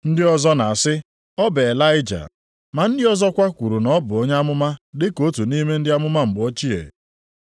Ndị ọzọ na-asị, “Ọ bụ Ịlaịja.” Ma ndị ọzọkwa kwuru na ọ bụ onye amụma dị ka otu nʼime ndị amụma mgbe ochie.